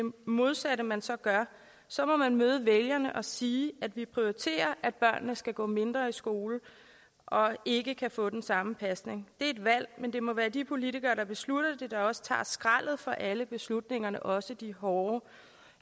modsatte man så gør så må man møde vælgerne og sige at vi prioriterer at børnene skal gå mindre i skole og ikke kan få den samme pasning det et valg men det må være de politikere der beslutter det der også tager skraldet for alle beslutningerne også de hårde